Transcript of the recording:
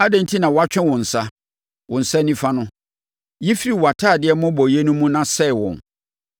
Adɛn enti na woatwe wo nsa, wo nsa nifa no? Yi firi wʼatadeɛ mmobɔeɛ no mu na sɛe wɔn.